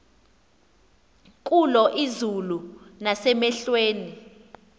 kulo izulu nasemehlweni